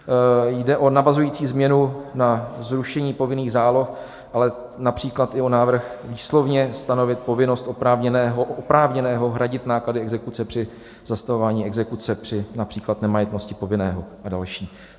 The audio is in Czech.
Jde o navazující změnu na zrušení povinných záloh, ale například i o návrh výslovně stanovit povinnost oprávněného hradit náklady exekuce při zastavování exekuce při například nemajetnosti povinného a další.